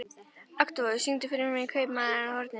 Oktavíus, syngdu fyrir mig „Kaupmaðurinn á horninu“.